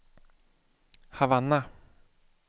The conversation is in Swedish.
Havanna